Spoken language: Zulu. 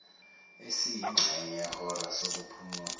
esiyingxenye yehora sokuphumula